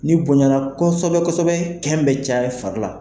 Ni bonyana kosɛbɛ kosɛbɛ kɛn bɛ caya i fari la.